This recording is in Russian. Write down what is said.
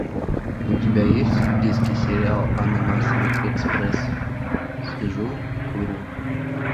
у тебя есть в списке сериал ананасовый экспресс сижу курю